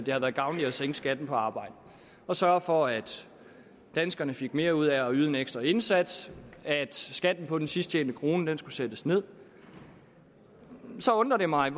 at det har været gavnligt at sænke skatten på arbejde og sørge for at danskerne fik mere ud af at yde en ekstra indsats at skatten på den sidst tjente krone skulle sættes ned så undrer det mig